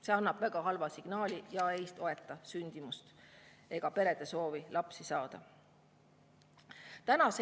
See annab väga halva signaali ja ei toeta sündimust ega perede soovi lapsi saada.